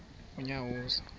unyawuza